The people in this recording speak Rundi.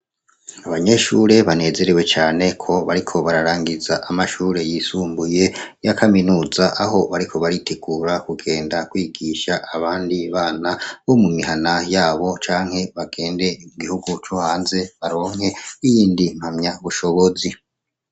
Abanyeshure banezerewe cane ko bariko bararagiza amashure yisumbuye ya kaminuza aho bariko baritegura kugenda kwigisha abandi bana mu mihana yabo canke bagende mu bihungu vyo hanze baronke iyindi mpamyabushobozi.